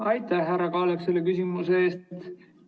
Aitäh, härra Kaalep, selle küsimuse eest!